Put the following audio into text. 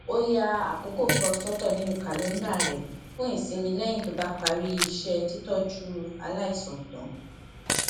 ó ya àkókò kan sótò nínú kàléńdà rè fún ìsinmi léyìn tó bá parí iṣé títójú aláìsàn tán